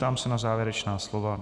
Ptám se na závěrečná slova.